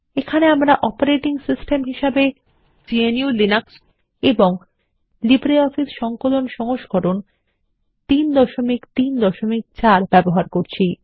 এখানে আমরা operating system হিসেবে গ্নু লিনাক্স এবং লিব্রিঅফিস সংকলন সংস্করণ ৩৩৪ ব্যবহার করছি